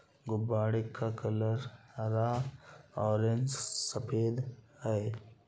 गुब्बारे का कलर हरा ऑरेंज सफेद है।